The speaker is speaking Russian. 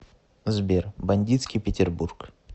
сбер бандитский петербург